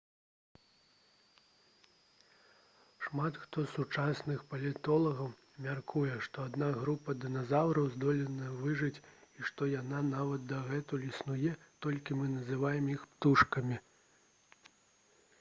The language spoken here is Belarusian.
шмат хто з сучасных палеантолагаў мяркуе што адна група дыназаўраў здолела выжыць і што яна нават дагэтуль існуе толькі мы называем іх птушкамі